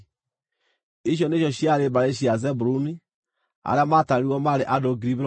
Icio nĩcio ciarĩ mbarĩ cia Zebuluni; arĩa maatarirwo maarĩ andũ 60,500.